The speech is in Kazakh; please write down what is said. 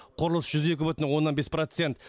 құрылыс жүз екі бүтін оннан бес процент